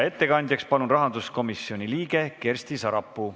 Ettekandjaks palun rahanduskomisjoni liikme Kersti Sarapuu.